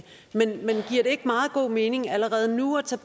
ikke meget god mening allerede nu at tage